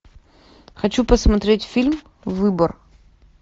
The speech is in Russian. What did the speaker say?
хочу посмотреть фильм выбор